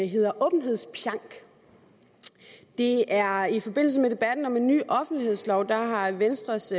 hedder åbenhedspjank det er i forbindelse med debatten om en ny offentlighedslov og der har venstres